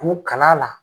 K'u kala la